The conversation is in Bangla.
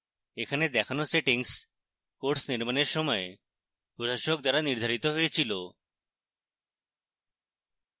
এখানে দেখানো সেটিংস course নির্মাণের সময় প্রশাসক দ্বারা নির্ধারিত হয়েছিল